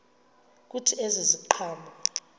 kuthi ezi ziqhamo